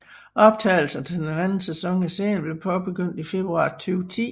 Optagelserne til den anden sæson af serien blev påbegyndt i februar 2010